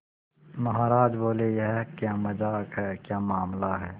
महाराज बोले यह क्या मजाक है क्या मामला है